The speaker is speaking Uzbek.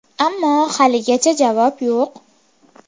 Ammo haligacha javob yo‘q”.